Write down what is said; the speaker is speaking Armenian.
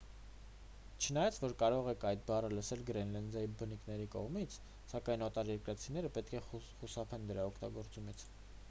չնայած որ կարող եք այդ բառը լսել գրենլանդիայի բնիկների կողմից սակայն օտարերկրացիները պետք է խուսափեն դրա օգտագործումից